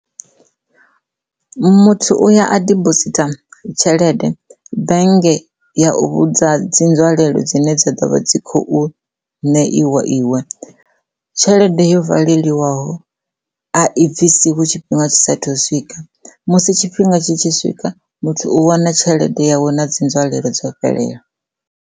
Muthu uya a dibositha tshelede bennge ya u vhudza dzi nzwalelo dzine dza ḓo vha dzi khou ṋeiwa iwe tshelede yo valeliwaho a i bvisi hu tshifhinga tshi saathu u swika musi tshifhinga tshi tshi swika muthu u wana tshelede yawe na dzi nzwalelo dzo fhelela.